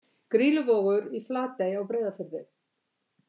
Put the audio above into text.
Grýluvogur í Flatey á Breiðafirði.